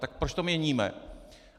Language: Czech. Tak proč to měníme!